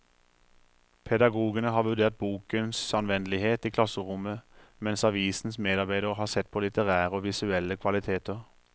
Pedagogene har vurdert bokens anvendelighet i klasserommet, mens avisens medarbeidere har sett på litterære og visuelle kvaliteter.